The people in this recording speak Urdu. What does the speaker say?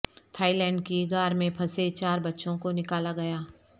تھائی لینڈ کی غار میں پھنسے چار بچوں کو نکالا گیا